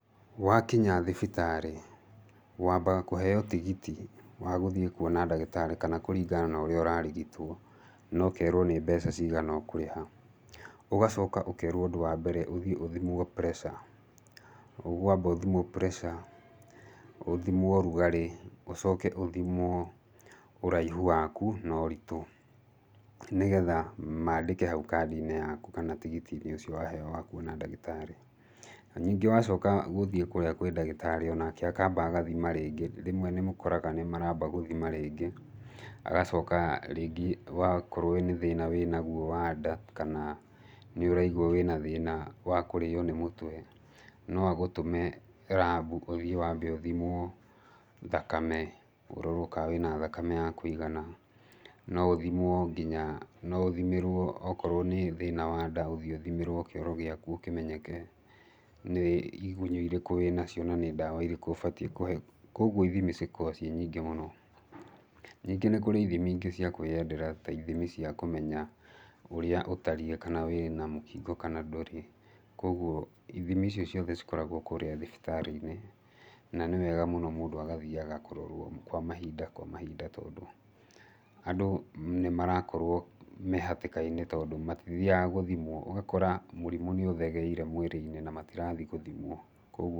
Wakinya thibitarĩ wambaga kũheyo tigiti wa gũthiĩ kũona ndagĩtarĩ, kana kũringana na ũrĩa ũrarigitwo, na ũkerwo nĩ mbeca cigana ũkũrĩha. Ũgacoka ũkerwo ũndũ wa mbere ũthiĩ ũthimwo pressure, ũkwamba ũthimwo pressure, ũthimwo ũrũgarĩ, ũcoke ũthimwo ũraihũ wakũ na ũritũ. Nĩgetha mandĩke haũ kandi-inĩ yakũ kana tigiti-inĩ ũcio waheyo wa kũona ndagĩtarĩ. Ningĩ wacoka gũthiĩ kũrĩa kwĩ ndagĩtarĩ, onake akamba agathima rĩngĩ, rĩmwe nĩmũkoraga nĩmaramba gũthima rĩngĩ, agacoka rĩngĩ wakorwo wĩ nĩ thĩna wĩnagwo wa nda kana nĩũraigwa wĩna thĩna wa kũrio nĩ mũtwe, noagũtũme rabũ ũthiĩ wambe ũthimwo thakame, ũrorwo kana wĩna thakame ya kũigana. No ũthimwo nginya, noũthimĩrwo okorwo nĩ thĩna wa nda ĩthiĩ ũthimĩrwo kĩoro gĩakũ kĩmenyeke nĩ igũnyũ irĩkũ wĩnacio na nĩ ndawa irĩkũ ũbatiĩ kũheyo. Koguo ithimi ici cikoragwo irĩ nyingĩ mũno. Ningĩ nĩ kũrĩ ithimi ingĩ cia kwĩyendera ta ithimi cia kĩmenya ũrĩa ũtariĩ kana wĩna mũkingo kana ndũrĩ. Koguo ithimi icio ciothe cikoragwo kũrĩa thibitari-inĩ, na nĩ wega mũno mũndũ agathiaga kũrorwo kwa mahinda kwa mahinda, tondũ andũ nĩmarakorwo me hatĩka-inĩ tondũ matithiaga gũthimwo ũgakora mũrimũ nĩũthegeire mwĩrĩ-inĩ na matirathiĩ gũthimwo koguo...